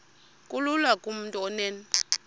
kulula kumntu onen